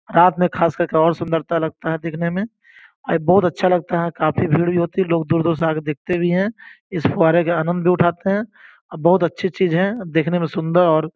रात में खास करके और सुंदरता लगता है दिखने में और बहुत अच्छा लगता है काफ़ी भीड़ भी होती है लोग दूर-दूर से आकर देखते भी हैं इस पुहारे के आनंद भी उठाते हैं बहुत अच्छी चीज़ है देखने में सुंदर और --